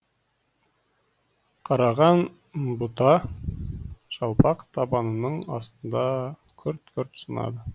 қараған бұта жалпақ табанының астында күрт күрт сынады